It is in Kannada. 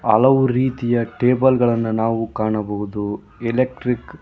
ಹಲವು ರೀತಿಯ ಟೇಬಲ್ ಗಳನ್ನು ನಾವು ಕಾಣಬಹುದು ಎಲೆಕ್ಟ್ರಿಕ್ .